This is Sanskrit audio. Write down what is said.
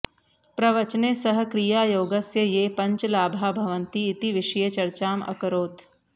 प्रवचने सः क्रियायोगस्य ये पञ्च लाभाः भवन्ति इति विषये चर्चाम् अकरोत्